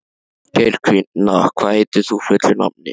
Geirfinna, hvað heitir þú fullu nafni?